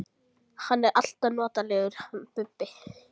Hann er alltaf notalegur, hann Bubbi!